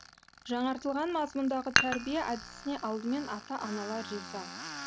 жаңартылған мазмұндағы тәрбие әдісіне алдымен ата аналар риза